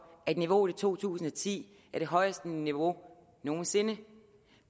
at niveauet i to tusind og ti er det højeste niveau nogen sinde